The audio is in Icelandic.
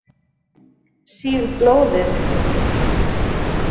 Sýg blóðið úr fingrinum.